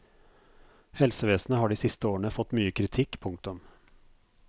Helsevesenet har de siste årene fått mye kritikk. punktum